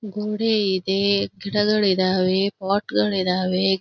ಗೋಡೆ ಇದೆ ಗಿಡಗಳ್ ಇದಾವೆ ಪೊಟ್ ಗಳ್ ಇದಾವೆ.